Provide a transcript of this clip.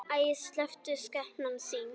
Æi, slepptu skepnan þín!